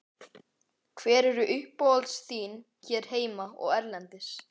Hver eru uppáhaldslið þín hér heima og erlendis?